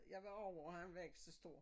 Jeg var over og han var ikke så stor